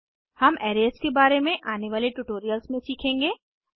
हम अरेज के बारे में आने वाले ट्यूटोरियल्स में सीखेंगे